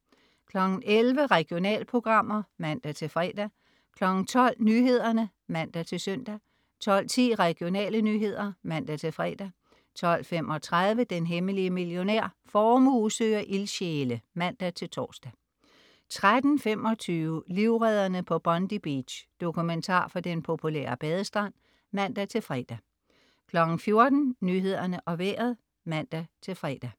11.00 Regionalprogrammer (man-fre) 12.00 Nyhederne (man-søn) 12.10 Regionale nyheder (man-fre) 12.35 Den hemmelige millionær. Formue søger ildsjæle (man-tors) 13.25 Livredderne på Bondi Beach. Dokumentar fra den populære badestrand (man-fre) 14.00 Nyhederne og Vejret (man-fre)